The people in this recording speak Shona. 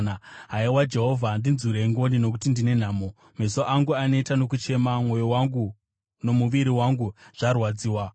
Haiwa Jehovha, ndinzwirei ngoni nokuti ndine nhamo; meso angu aneta nokuchema, mwoyo wangu nomuviri wangu zvarwadziwa.